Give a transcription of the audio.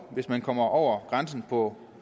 hvis man kommer over grænsen på